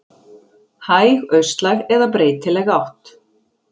Hæg austlæg eða breytileg átt